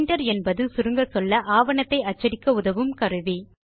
printer என்பது சுருங்கச்சொல்ல ஆவணத்தை அச்சடிக்க உதவும் கருவி